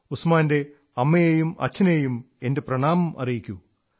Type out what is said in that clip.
ഉസ്മാന്റെ അമ്മയെയും അച്ഛനെയും എന്റെ പ്രണാമം അറിയിക്കൂ